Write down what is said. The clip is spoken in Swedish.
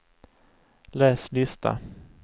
läs lista